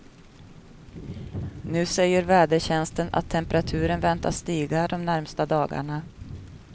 Nu säger vädertjänsten att temperaturen väntas stiga de närmaste dagarna.